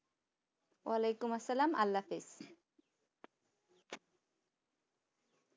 ওয়ালাইকুম আসসালাম আল্লাহ হাফেজ